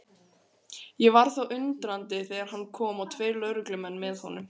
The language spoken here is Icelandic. Ég varð þó undrandi þegar hann kom og tveir lögreglumenn með honum.